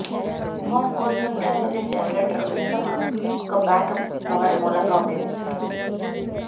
home కోసం gasoline generator ఉత్తమ ఒక బ్యాకప్ పవర్ మూలంగా ఉపయోగిస్తారు